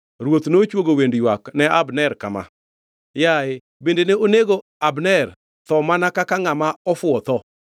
Ruoth nochwogo wend ywak ne Abner kama: “Yaye bende ne onego Abner tho mana kaka ngʼama ofuwo tho?